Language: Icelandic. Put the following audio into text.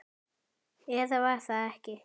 Eða var það ekki?